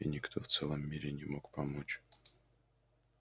и никто в целом мире не мог помочь